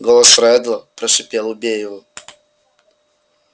голос реддла прошипел убей его